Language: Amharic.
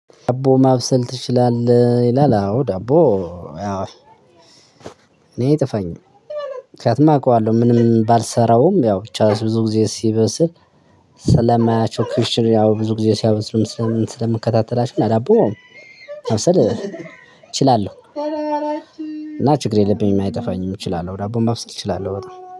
ዳቦ ማብሰል ትችላለህ? ይላል አዎ ዳቦ። ያው እኔ እይጠፋኝም ምክንያቱም አውቀዋለሁ ምንም ባልሰራውም ያው ብዙ አስብ ብዙ ጊዜ ሲበስል። ስለማያቸው ክሽን ያው ብዙ ጊዜ ሲያበሉም ስለምን ስለምከታተላቸው እና ዳቦ ማብሰል እችላለሁ። እና ችግር የለብኝም አይጠፋኝም እችላለሁ ዳቦን ማብሰስ እችላለሁ በጣም